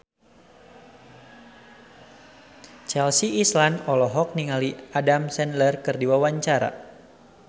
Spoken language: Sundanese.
Chelsea Islan olohok ningali Adam Sandler keur diwawancara